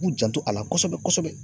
K'u janto a la kɔsɛbɛ-kɔsɛbɛ